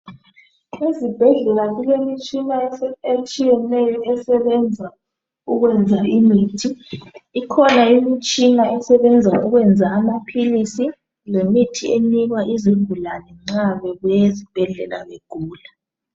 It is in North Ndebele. Ezibhedlela kule mitshina etshiyeneyo esebenza ukwenza imithi. ikhona imitshina esebenza amapilisi lemithi enikwa izigulane nxa bebuye ezibhedlela begula.